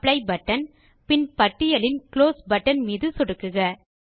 apply button பின் பட்டியலின் close button மீதும் சொடுக்குக